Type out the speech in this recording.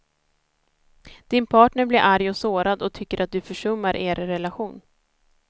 Din partner blir arg och sårad och tycker att du försummar er relation.